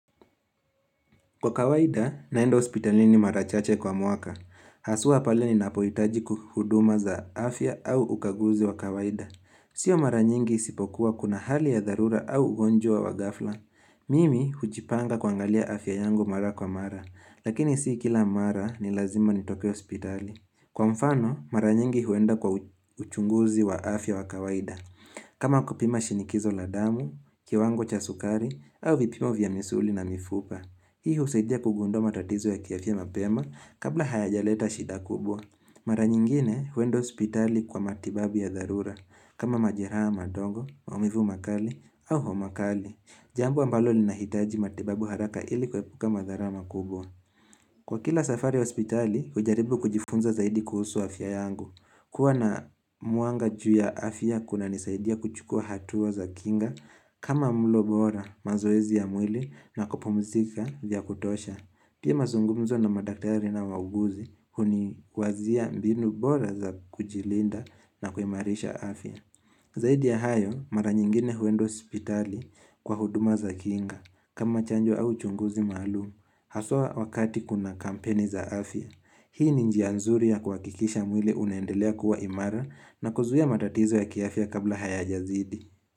Kwa kawaida, naenda hospitalini mara chache kwa mwaka. Haswaa pale ninapohitaji ku huduma za afya au ukaguzi wa kawaida. Sio mara nyingi isipokuwa kuna hali ya dharura au ugonjwa wa ghafla. Mimi hujipanga kuangalia afya yangu mara kwa mara. Lakini sii kila mara ni lazima nitoke hospitali. Kwa mfano, mara nyingi huenda kwa uchunguzi wa afya wa kawaida. Kama kupima shinikizo la damu, kiwango cha sukari, au vipimo vya misuli na mifupa. Hii husaidia kugundua matatizo ya kiafya mapema kabla hayajaleta shida kubwa. Mara nyingine huenda hospitali kwa matibabu ya dharura. Kama majiraha madogo, maumivu makali au homa kali. Jambo ambalo linahitaji matibabu haraka ili kuepuka magharama kubwa. Kwa kila safari hospitali, hujaribu kujifunza zaidi kuhusu afya yangu. Kuwa na mwanga juu ya afya kunanisaidia kuchukua hatua za kinga. Kama mlo bora mazoezi ya mwili na kupumzika vya kutosha, pia mazungumzo na madaktari na wauguzi huni wazia mbinu bora za kujilinda na kuimarisha afya. Zaidi ya hayo, mara nyingine huenda hospitali kwa huduma za kiinga. Kama chanjo au chunguzi maalumu, haswa wakati kuna kampeni za afya. Hii ni njia nzuri ya kuhakikisha mwili unaendelea kuwa imara na kuzuia matatizo ya kiafya kabla hayajazidi.